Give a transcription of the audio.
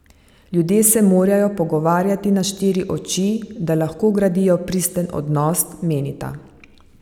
Ljudje se morajo pogovarjati na štiri oči, da lahko gradijo pristen odnos, menita.